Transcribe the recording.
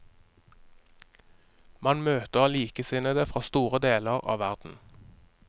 Man møter likesinnede fra store deler av verden.